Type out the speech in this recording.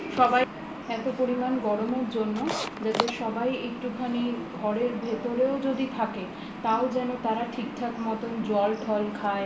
সবাই এত পরিমান গরমের জন্য যাতে সবাই একটুখানি ঘরের ভিতরেও যদি থাকে তাও যেন তারা ঠিকঠাক মতো জল টল